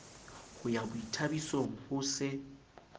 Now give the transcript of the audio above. ho ya boithabisong ho se